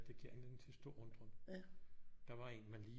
Det giver anledning til stor undren der var en man lige